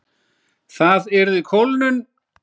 Það yrði kólnun.